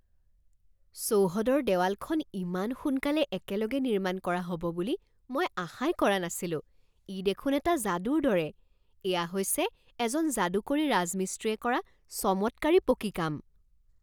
চৌহদৰ দেৱালখন ইমান সোনকালে একেলগে নিৰ্মাণ কৰা হ'ব বুলি মই আশাই কৰা নাছিলোঁ ই দেখোন এটা যাদুৰ দৰে! এয়া হৈছে এজন যাদুকৰী ৰাজমিস্ত্ৰীয়ে কৰা চমৎকাৰী পকী কাম।